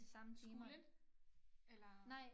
Skolen? Eller